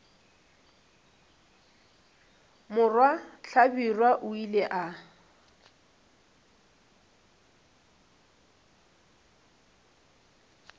morwa hlabirwa o ile a